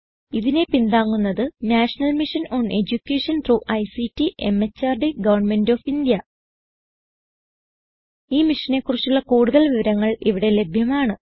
ഇതിനെ പിന്താങ്ങുന്നത് national mission on education through ICT മെഹർദ് ഗവന്മെന്റ് ഓഫ് ഇന്ത്യ ഈ മിഷനെ കുറിച്ചുള്ള കുടുതൽ വിവരങ്ങൾ ഇവിടെ ലഭ്യമാണ്